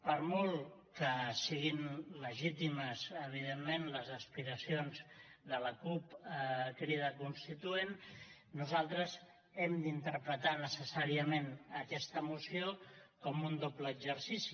per molt que siguin legítimes evidentment les aspiracions de la cup crida constituent nosaltres hem d’interpretar necessàriament aquesta moció com un doble exercici